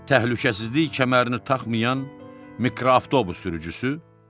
Təhlükəsizlik kəmərini taxmayan mikroavtobus sürücüsü?